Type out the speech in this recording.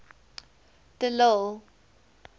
de lille